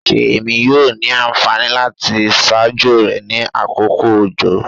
Ṣé Èmi yóò ní ànfàní láti ṣajó rẹ ní àkókò òjò?